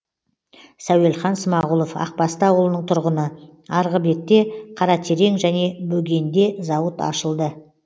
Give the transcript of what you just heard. сәуелхан смағұлов ақбасты ауылының тұрғыны арғы бетте қаратерең және бөгенде зауыт ашылды